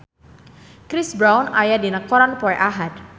Chris Brown aya dina koran poe Ahad